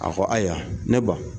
A ko ayiwa ne ba